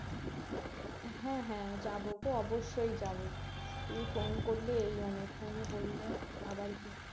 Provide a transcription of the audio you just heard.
হ্যাঁ হ্যাঁ যাবোতো অবশ্যই যাবো তুমি phone করলে এই অনেক phone এ বললে আবার কি